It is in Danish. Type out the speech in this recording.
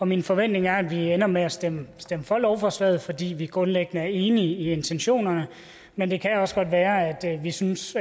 min forventning er at vi ender med at stemme for lovforslaget fordi vi grundlæggende er enige i intentionerne men det kan også godt være at vi synes